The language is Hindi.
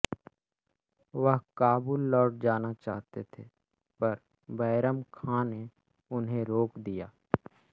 वह काबुल लौट जाना चाहते थे पर बैरम ख़ाँ ने उन्हें रोक दिया